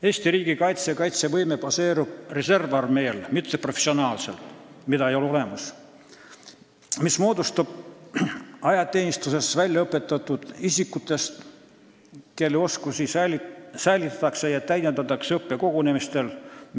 Eesti riigi kaitsevõime baseerub reservarmeel – meil ei ole olemas professionaalset armeed –, mis moodustub ajateenistuses väljaõpetatud isikutest, kelle oskusi säilitatakse ja täiendatakse õppekogunemistel.